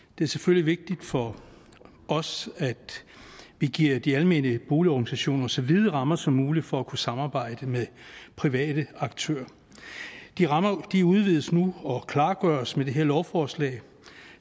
det er selvfølgelig vigtigt for os at vi giver de almene boligorganisationer så vide rammer som muligt for at kunne samarbejde med private aktører de rammer udvides nu og klargøres med det her lovforslag